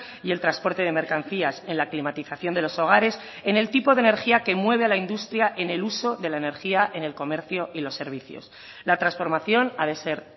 y el transporte de mercancías en la climatización de los hogares en el tipo de energía que mueve a la industria en el uso de la energía en el comercio y los servicios la transformación ha de ser